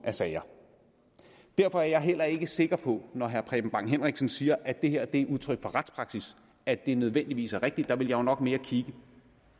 af sager derfor er jeg heller ikke sikker på når herre preben bang henriksen siger at det her er udtryk for retspraksis at det nødvendigvis er rigtigt der ville jeg jo nok mere kigge